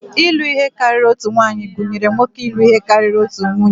Ịlụ ihe karịrị otu nwaanyị gụnyere nwoke ịlụ ihe karịrị otu nwunye